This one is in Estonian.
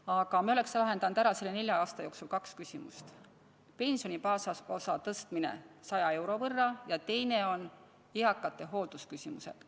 Aga me oleks nende nelja aasta jooksul lahendanud kaks küsimust: pensioni baasosa tõstmine 100 euro võrra ja eakate hooldusküsimused.